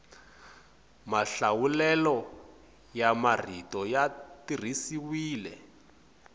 mahlawulelo ya marito ya tirhisiwile